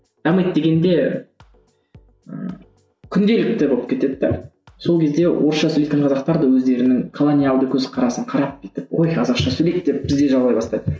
дамиды дегенде ыыы күнделікті болып кетеді де сол кезде орысша сөйлейтін қазақтар да өздерінің колониялдық көзқарасын қарап бүйтіп қой қазақша сөйлейік деп бізде жаулай бастайды